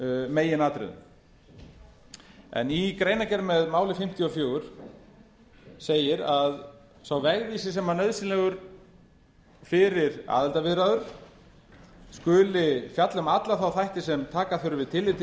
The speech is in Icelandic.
meginatriðum í greinargerð í máli fimmtíu og fjögur segir að sá vegvísir sem nauðsynlegur er fyrir aðildarviðræður skuli fjalla um alla þá þætti sem taka þurfi tillit til